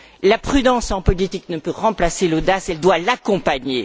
La prudence en politique ne peut remplacer l'audace, elle doit l'accompagner.